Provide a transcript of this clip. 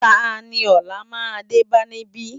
Táni òlá má dé bá nibi?